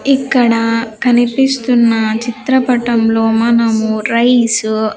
ఇక్కడ కనిపిస్తున్న చిత్రపటంలో మనము రైస్ .